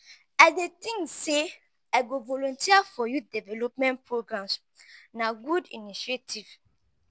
i dey think say i go volunteer for youth development programs; na good initiative.